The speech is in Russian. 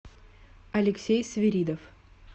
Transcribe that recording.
алексей свиридов